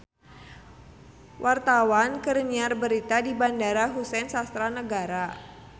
Wartawan keur nyiar berita di Bandara Husein Sastra Negara